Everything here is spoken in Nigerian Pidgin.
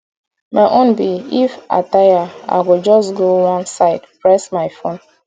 my own be if i tire i go just go one side press my phone